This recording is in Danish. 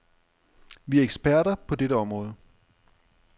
Vi er eksperter på dette område.